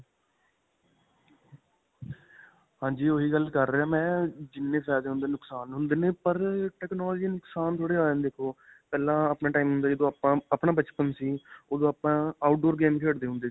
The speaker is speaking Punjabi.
ਹਾਂਜੀ. ਓਹੀ ਗੱਲ ਕਰ ਰਿਹਾ ਮੈਂ ਅਅ ਜਿੰਨੇ ਫਾਇਦੇ ਹੁੰਦੇ ਨੇ ਨੁਕਸਾਨ ਹੁੰਦੇ ਨੇ ਪਰ technology ਦੇ ਨੁਕਸਾਨ ਥੋੜੇ ਜਿਆਦਾ ਨੇ. ਦੇਖੋ ਪਹਿਲਾਂ ਆਪਣਾ time ਹੁੰਦਾ ਸੀ, ਜਦੋ ਆਪਣਾ ਬਚਪਨ ਸੀ ਓਦੋ ਆਪਾਂ outdoor game ਖੇਡਦੇ ਹੁੰਦੇ ਸੀ.